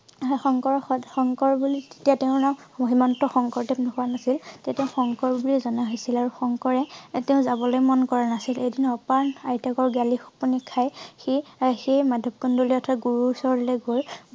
শংকৰ~সদ~শংকৰ বুলি তেতিয়া তেওঁৰ নাম শ্ৰীমন্ত শংকৰদেৱ হোৱা নাছিল। তেতিয়া শংকৰ বুলিয়ে জনা হৈছিল। আৰু শংকৰে তেওঁ জাবলে মন কৰা নাছিল। এদিন অপায়ণ আইতাকৰ গালি শপনি খাই সি সেই মাধৱ কন্দলী অৰ্থাৎ গুৰু ওচৰলৈ গল